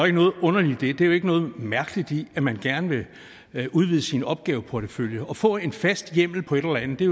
ikke noget underligt i det der er ikke noget mærkeligt i at man gerne vil udvide sin opgaveportefølje og få en fast hjemmel på et eller andet det